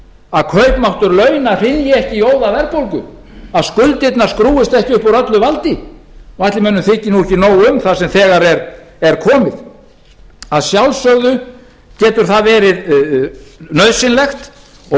að kaupmáttur launa hrynji ekki í óðaverðbólgu að skuldirnar skrúfist ekki upp úr öllu valdi ætli mönnum þyki nú ekki nóg um það sem þegar er komið að sjálfsögðu getur það verið nauðsynlegt og við